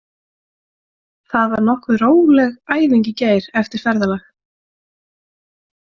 Það var nokkuð róleg æfing í gær eftir ferðalag.